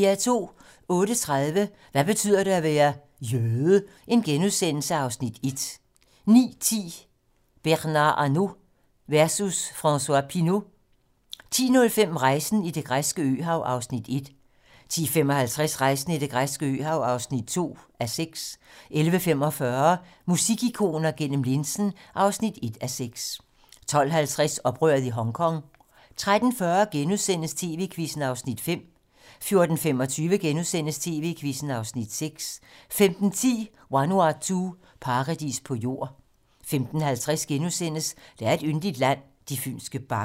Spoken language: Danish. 08:30: Hvad betyder det at være: Jøde? (Afs. 1)* 09:10: Bernard Arnault versus François Pinault 10:05: Rejsen i det græske øhav (1:6) 10:55: Rejsen i det græske øhav (2:6) 11:45: Musikikoner gennem linsen (1:6) 12:50: Oprøret i Hongkong 13:40: TV-Quizzen (Afs. 5)* 14:25: TV-Quizzen (Afs. 6)* 15:10: Vanuatu - paradis på jord 15:50: Der er et yndigt land - de fynske bakker *